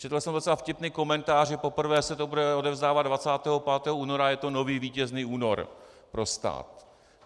Četl jsem docela vtipný komentář, že poprvé se to bude odevzdávat 25. února a je to nový Vítězný únor pro stát.